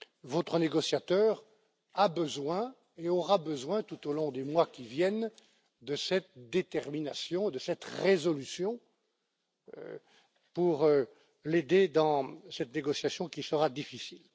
Votre négociateur a besoin et aura besoin tout au long des mois qui viennent de cette détermination, de cette résolution, pour l'aider dans cette négociation, qui sera difficile.